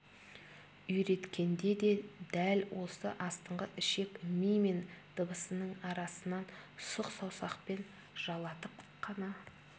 үйреткенде де дәл осы астыңғы ішек ми мен дыбысының арасынан сұқ саусақпен жалатып қана